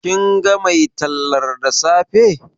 Kin ga mai tallar da safe?